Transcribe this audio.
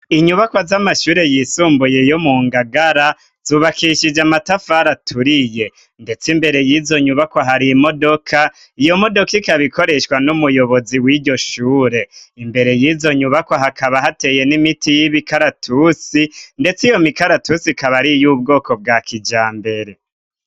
inyubakwo z'amashure yisumbuye yo mu ngagara, zubakishije amatafara aturiye, ndetse imbere y'izo nyubakwa hari imodoka, iyo modoka ikaba ikoreshwa n'umuyobozi w'iryo shure ,imbere y'izo nyubako hakaba hateye n'imiti y'ibikaratusi ,ndetse iyo mikaratusi ikaba ari y 'ubwoko bwa kijambere.